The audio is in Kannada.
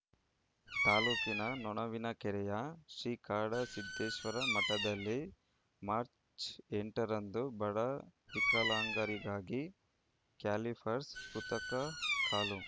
ತಾಲ್ಲೂಕಿನ ನೊಣವಿನಕೆರೆಯ ಶ್ರೀ ಕಾಡಸಿದ್ದೇಶ್ವರ ಮಠದಲ್ಲಿ ಮಾರ್ಚ್ ಎಂಟರಂದು ಬಡ ವಿಕಲಾಂಗರಿಗಾಗಿ ಕ್ಯಾಲಿಪರ್ಸ್ ಕೃತಕ ಕಾಲು